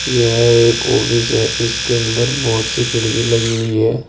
यह एक ऑफिस है। इसके अंदर बोहोत सी खिड़की लगी हुई हैं।